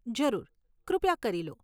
જરૂર, કૃપયા કરી લો.